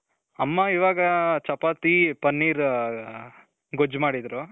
ಅಮ್ಮ ಇವಾಗ ಚಪಾತಿ, ಪನ್ನೀರ್ ಗೊಜ್ಜು ಮಾಡಿದ್ರು.